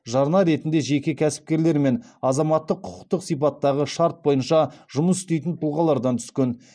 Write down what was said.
жарна ретінде жеке кәсіпкерлер мен азаматтық құқықтық сипаттағы шарт бойынша жұмыс істейтін тұлғалардан түскен